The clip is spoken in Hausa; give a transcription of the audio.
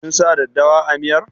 Kin sa daddawa a miyar?